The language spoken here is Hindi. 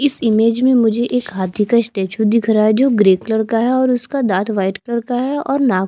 इस इमेज में मुझे एक हांथी का स्टेचू दिख रहा है जो ग्रे कलर का है और उसका दांत वाइट कलर का है और नाक --